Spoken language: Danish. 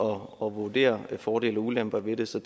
vurdere fordele og ulemper ved det så